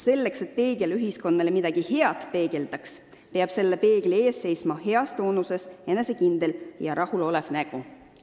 Selleks, et peegel ikka midagi head peegeldaks, peab selle peegli ees seisma heas toonuses, enesekindel ja rahulolev nägu.